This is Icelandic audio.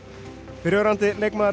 fyrrverandi leikmaður